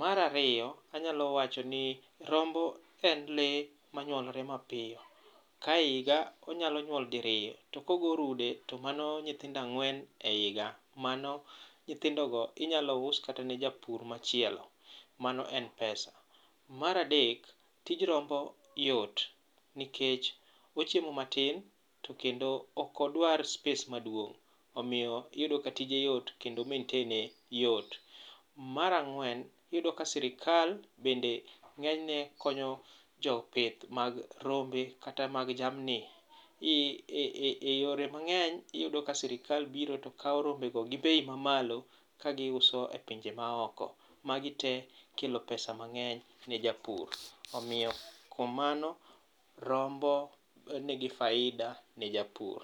Mar ariyo, anyalo wacho ni rombo en lee manyuolore mapiyo, ka higa onyalo nyuol diriyo, to kogo rude, to mano nyithindo ang'wen e higa, mano nyithindogo inyalo us kata ne japur machielo. Mano en pesa. Mar adek, tij rombo yot nikech ochiemo matin, to kendo okodwar space maduong'. Omiyo iyudo ka tije yot kendo maintain ye, yot. Mar ag'wen, iyudo ka sirikal bende ng'enyne konyo jopith mag rombe kata mag jamni,e yore mang'eny, iyudo ka sirikal biro to kawo rombego gi bei mamalo ka giuso e pinje maoko. Magi tee kelo pesa mang'eny ne japur. Omiyo kuom mano, rombo nigi faida ne japur.